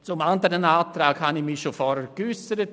Zum anderen Antrag habe ich mich vorher geäussert.